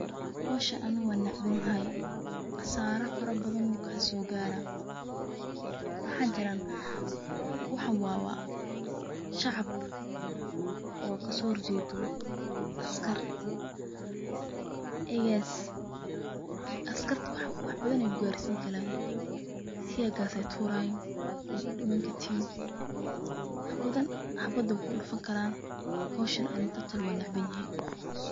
Howshan aniga wan necbahay qaso fara badan aya kasogara mxa jiran, waxan wa shacab oo kasohorjedo askar marka askarta wax badan ayey kugarsini karan tear gas ayey turayin wad kudimani karta\, xabad ayey kugudufani karan. Howshan aniga totally wan necbanyahay.